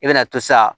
I bɛna to sa